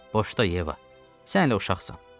Boşda Yeva, sən hələ uşaqsan.